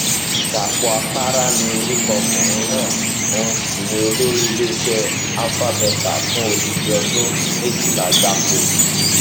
dápò àpárá ni orúkọ ọkùnrin náà òun sì ni olórí iléeṣẹ alpha beta fún odidi ọdún méjìlá gbáko